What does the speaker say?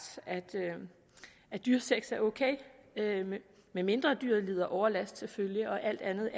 at dyresex er ok medmindre dyret lider overlast selvfølgelig og alt andet